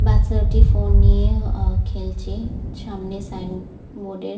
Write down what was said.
বাচ্ছাটি phone নিয়ে আঃ খেলছে সামনে সাইন বোর্ড এ--